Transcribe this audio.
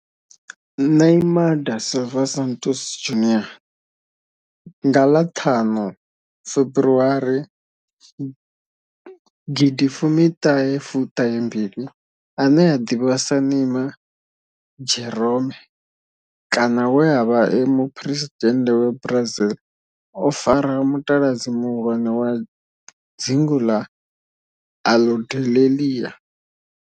Neymar da Silva Santos Junior, nga ḽa thanu February gidi fumi thahe fu mbili, ane a ḓivhiwa sa Ne'ymar' Jeromme kana we a vha e muphuresidennde wa Brazil o fara mutaladzi muhulwane wa dzingu la Aludalelia.